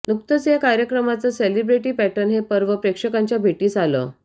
नुकतंच या कार्यक्रमाचं शेलिब्रेटी पॅटर्न हे पर्व प्रेक्षकांच्या भेटीस आलं